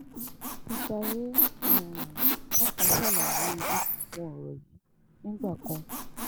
akintayé um pàápàá ṣàlàyé irú àwọn ọ̀rọ̀ yìí nígbà kan